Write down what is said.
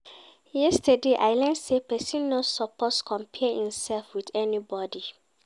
Yesterday, I learn sey pesin no suppose compare imsef wit anybodi.